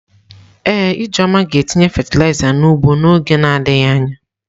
Ee, Ijeoma ga-etinye fatịlaịza n’ugbo n'oge na adịghị anya.